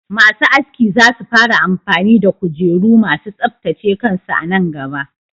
Masu aski za su fara amfani da kujeru ma su tsaftace kansu a nan gaba.